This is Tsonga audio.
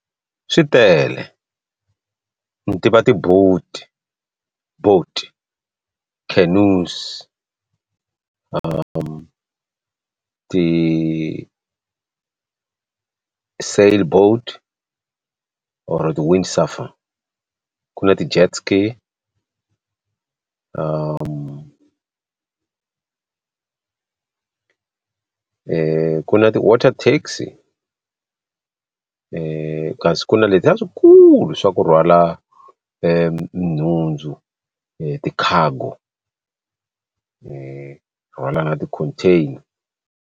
Swi tele ni tiva ti-boat boat cannos ti ti sail boat or or ku na ti jetski ku na ti wate kasi ku na letiya leswikulu swa ku rhwala nhundzu ti-cargo container.